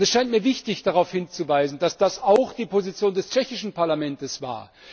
Es scheint mir wichtig, darauf hinzuweisen, dass das auch die Position des tschechischen Parlaments war.